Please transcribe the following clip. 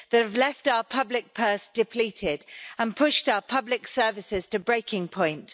They've left our public purse depleted and pushed our public services to breaking point.